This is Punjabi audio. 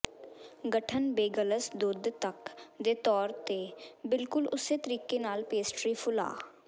ਗਠਨ ਬੇਗਲਸ ਦੁੱਧ ਤੱਕ ਦੇ ਤੌਰ ਤੇ ਬਿਲਕੁਲ ਉਸੇ ਤਰੀਕੇ ਨਾਲ ਪੇਸਟਰੀ ਫੁਲਾ